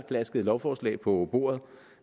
klasket lovforslaget på bordet